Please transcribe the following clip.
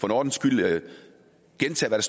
en ordens skyld gentage hvad